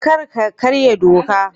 Kar ka karya doka